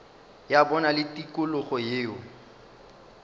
ya bona le tikologo yeo